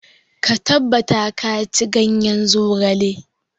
Ka tabbata ka ci ganyen zogale.